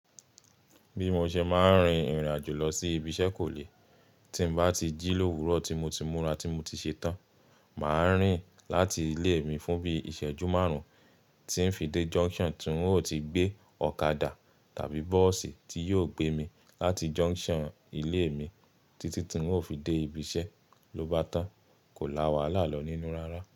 Bí mo ṣe máa ń rin ìrìnàjò lọ sí ibi iṣẹ́ kò le. Tí n bá ti jí lówùrọ̀, tí mo ti múra, tí mo ti ṣetán, màá rìn láti ilé mi fún bí ìṣẹ́jú márùn-ún tí ń fi dé junction tí n ó ti gbé ọ̀kadà tàbí bọ́ọ̀sì tí yóò gbé mi láti junction ilé mi títí tí n ó fi dé ibi iṣẹ́. Ló bá tán, kò láwàlá lọ nínú rárá.